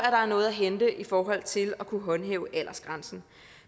at der er noget at hente i forhold til at kunne håndhæve aldersgrænsen